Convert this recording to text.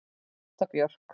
Ásta Björk.